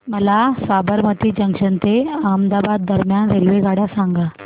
मला साबरमती जंक्शन ते अहमदाबाद दरम्यान रेल्वेगाड्या सांगा